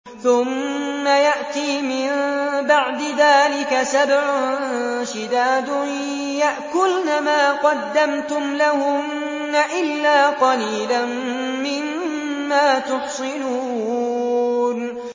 ثُمَّ يَأْتِي مِن بَعْدِ ذَٰلِكَ سَبْعٌ شِدَادٌ يَأْكُلْنَ مَا قَدَّمْتُمْ لَهُنَّ إِلَّا قَلِيلًا مِّمَّا تُحْصِنُونَ